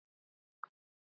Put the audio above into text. sagði ég þá.